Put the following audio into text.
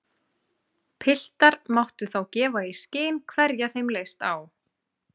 Piltar máttu þá gefa í skyn hverja þeim leist á.